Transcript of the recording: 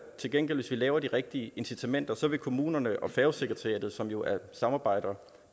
til gengæld laver de rigtige incitamenter vil kommunerne og færgesekretariatet som jo samarbejder